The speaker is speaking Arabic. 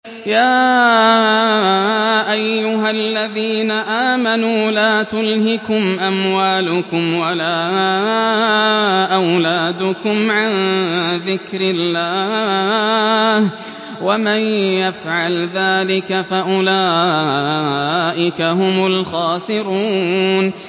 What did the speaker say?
يَا أَيُّهَا الَّذِينَ آمَنُوا لَا تُلْهِكُمْ أَمْوَالُكُمْ وَلَا أَوْلَادُكُمْ عَن ذِكْرِ اللَّهِ ۚ وَمَن يَفْعَلْ ذَٰلِكَ فَأُولَٰئِكَ هُمُ الْخَاسِرُونَ